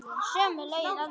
Sömu lögin alls staðar.